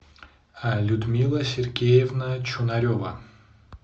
людмила сергеевна чунарева